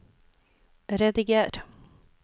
rediger